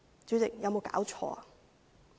主席，有沒有搞錯呢？